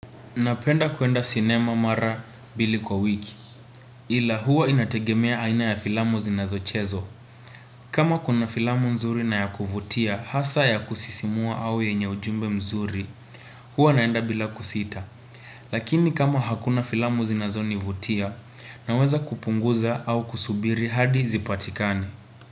Napenda kuenda sinema mara mbili kwa wiki. Ila huwa inategemea aina ya filamu zinazochezwa. Kama kuna filamu nzuri na ya kuvutia hasa ya kusisimua au yenye ujumbe mzuri huwa naenda bila kusita. Lakini kama hakuna filamu zinazonivutia naweza kupunguza au kusubiri hadi zipatikane.